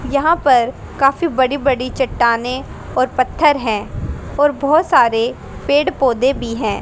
यहां पर काफी बड़ी बड़ी चट्टानें और पत्थर हैं और बहुत सारे पेड़ पौधे भी हैं।